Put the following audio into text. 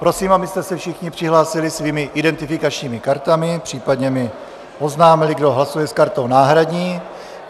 Prosím, abyste se všichni přihlásili svými identifikačními kartami, případně mi oznámili, kdo hlasuje s kartou náhradní.